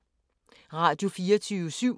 Radio24syv